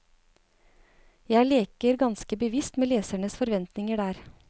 Jeg leker ganske bevisst med lesernes forventninger der.